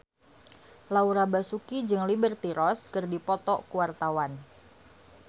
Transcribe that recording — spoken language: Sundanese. Laura Basuki jeung Liberty Ross keur dipoto ku wartawan